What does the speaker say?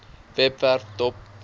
webwerf dop